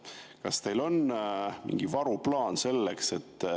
Kas teil on selleks mingi varuplaan?